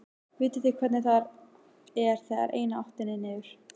Vitið þið hvernig það er þegar eina áttin er niður?